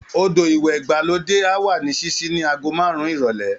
Odò ìwẹ̀ ìgbàlódé á wà ní ṣíṣí ní aago márùn-ún ìrọ̀lẹ́